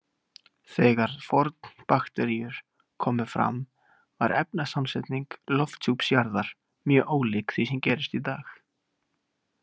Þegar fornbakteríur komu fram var efnasamsetning lofthjúps jarðar mjög ólík því sem gerist í dag.